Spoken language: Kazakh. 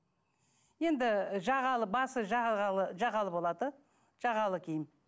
енді жағалы басы жағалы жағалы болады жағалы киім